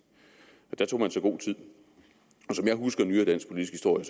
der tog man sig god tid og som jeg husker nyere dansk politisk historie